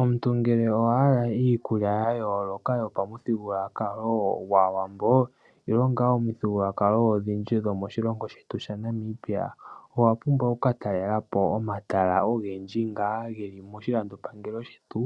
Omuntu ngele owa hala iikulya ya yooloka yopamuthigulwakalo gwAawambo nenge ngaa omithigulwakalo odhindji dhomoshilongo shetu shaNamibia, owa pumbwa oku ka talelapo omatala ogendji nga geli moshilandopangelo shetu